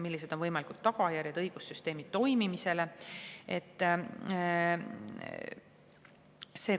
Millised on võimalikud tagajärjed õigussüsteemi toimimisele?